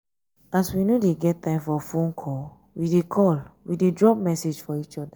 as we no dey get time for fone call we dey call we dey drop message for each other.